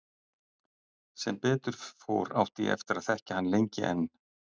Sem betur fór átti ég eftir að þekkja hann lengi enn.